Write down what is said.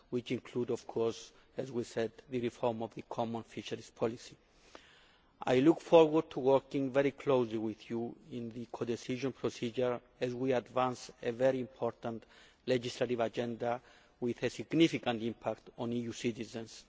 These include of course, as we said, the reform of the common fisheries policy. I look forward to working very closely with you in the codecision procedure as we advance a very important legislative agenda with a significant impact on EU citizens.